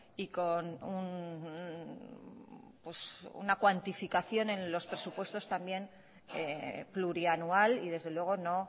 y con una cuantificación en los presupuestos también plurianual y desde luego no